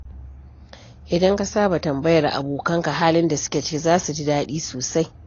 Idan ka saba tambayar abokanka halin da suke ciki, za su ji daɗi sosai.